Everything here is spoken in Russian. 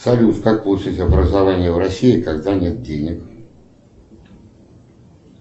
салют как получить образование в россии когда нет денег